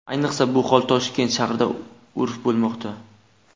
Ayniqsa, bu hol Toshkent shahrida urf bo‘lmoqda.